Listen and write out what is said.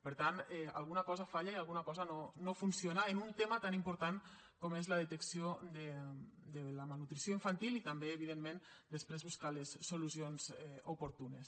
per tant alguna cosa falla i alguna cosa no funciona en un tema tan important com és la detecció de la malnutrició infantil i també evidentment després buscar les solucions oportunes